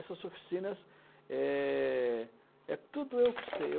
Essas oficinas, é é tudo eu que custei.